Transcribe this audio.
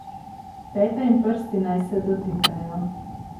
Peta in prsti naj se dotikajo.